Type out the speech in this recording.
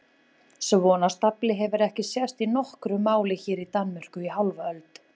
Svona stafli hefur ekki sést í nokkru máli hér í Danmörku í hálfa öld!